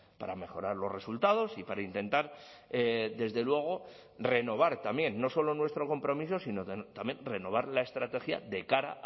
para mejorar los resultados y para intentar desde luego renovar también no solo nuestro compromiso sino también renovar la estrategia de cara